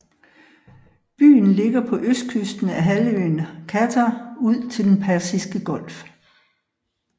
Byen ligger på østkysten af halvøen Qatar ud til Den Persiske Golf